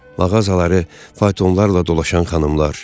Mağazaları faytonlarla dolaşan xanımlar.